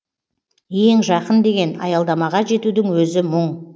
ең жақын деген аялдамаға жетудің өзі мұң